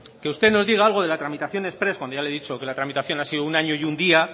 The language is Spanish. que usted nos diga algo de la tramitación exprés cuando ya le he dicho que la tramitación ha sido un año y un día